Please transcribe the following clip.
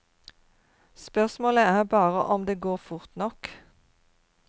Spørsmålet er bare om det går fort nok.